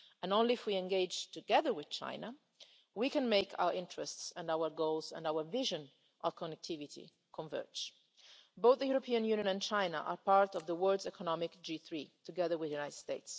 Only if we engage together with China can we make our interests, our goals, our vision and our connectivity converge. Both the European Union and China are part of the world's economic G3, together with the